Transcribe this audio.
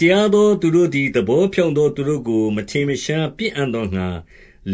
တရားသော သူတို့သည် သဘောဖြောင့်သော သူတို့ကို မထင်မရှားပစ်အံ့သောငှါ